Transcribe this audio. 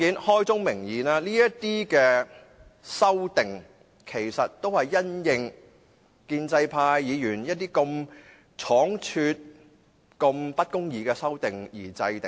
開宗明義，這些修正案其實都是因應建制派議員一些倉卒提出及不公義的修正案而制訂的。